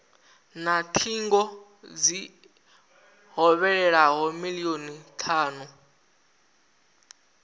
na thingo dzi hovhelelaho milioni thanu